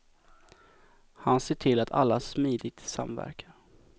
Han ser till att alla smidigt samverkar.